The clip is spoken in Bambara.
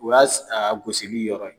O y'a a gosili yɔrɔ ye